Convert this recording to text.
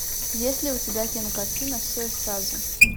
есть ли у тебя кинокартина все и сразу